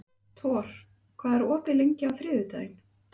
Thor, hvað er opið lengi á þriðjudaginn?